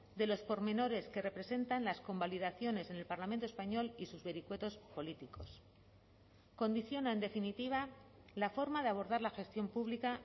de los pormenores que representan las convalidaciones en el parlamento español y sus vericuetos políticos condiciona en definitiva la forma de abordar la gestión pública